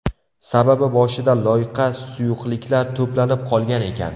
Sababi boshida loyqa suyuqliklar to‘planib qolgan ekan.